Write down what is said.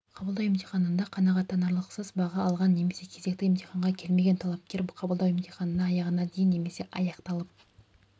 қабылдау емтихандарында қанағаттанарлықсыз баға алған немесе кезекті емтиханға келмеген талапкер қабылдау емтихандарының аяғына дейін немесе аяқталып